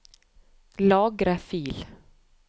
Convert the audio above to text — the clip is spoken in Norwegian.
Lagre fil